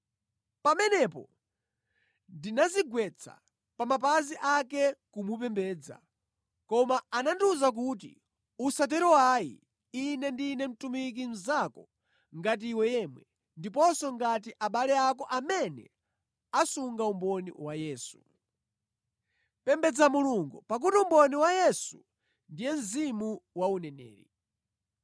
Pamenepo ndinadzigwetsa pa mapazi ake kumupembedza. Koma anandiwuza kuti, “Usatero ayi, ine ndine mtumiki mnzako ngati iwe yemwe, ndiponso ngati abale ako amene asunga umboni wa Yesu. Pembedza Mulungu. Pakuti umboni wa Yesu ndiye mzimu wa uneneri.”